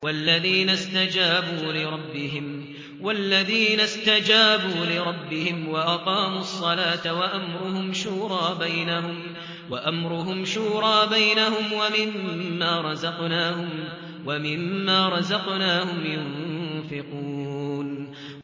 وَالَّذِينَ اسْتَجَابُوا لِرَبِّهِمْ وَأَقَامُوا الصَّلَاةَ وَأَمْرُهُمْ شُورَىٰ بَيْنَهُمْ وَمِمَّا رَزَقْنَاهُمْ يُنفِقُونَ